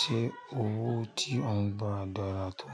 Ṣé owó tí ó ń gba dára tó?